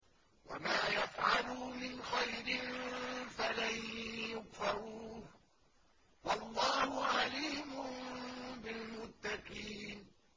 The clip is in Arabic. وَمَا يَفْعَلُوا مِنْ خَيْرٍ فَلَن يُكْفَرُوهُ ۗ وَاللَّهُ عَلِيمٌ بِالْمُتَّقِينَ